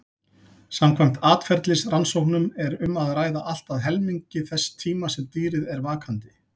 Samkvæmt atferlisrannsóknum er um að ræða allt að helmingi þess tíma sem dýrið er vakandi.